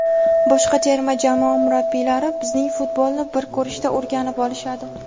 boshqa terma jamoa murabbiylari bizning futbolni bir ko‘rishda o‘rganib olishadi.